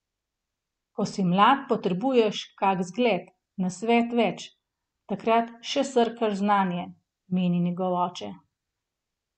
Ko si mlad, potrebuješ kak zgled, nasvet več, takrat še srkaš znanje, meni njegov oče.